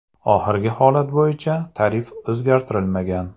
Oxirgi holat bo‘yicha tarif o‘zgartirilmagan.